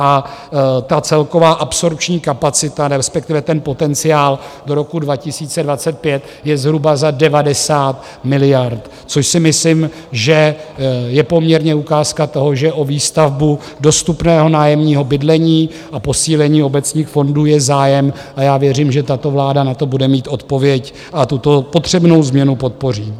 A ta celková absorpční kapacita, respektive ten potenciál do roku 2025, je zhruba za 90 miliard, což si myslím, že je poměrně ukázka toho, že o výstavbu dostupného nájemního bydlení a posílení obecních fondů je zájem, a já věřím, že tato vláda na to bude mít odpověď a tuto potřebnou změnu podpoří.